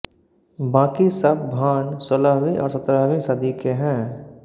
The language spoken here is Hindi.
बाकी सब भाण सोलहवीं और सत्रहवीं सदी के हैं